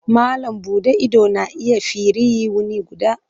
Malam buɗe ido na iya firiyi wuni guda.